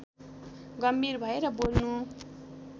गम्भीर भएर बोल्नु